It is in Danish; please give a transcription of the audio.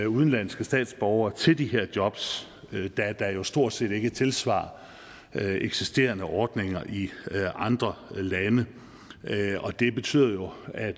udenlandske statsborgere til de jobs da der jo stort set ikke er tilsvarende eksisterende ordninger i andre lande og det betyder jo at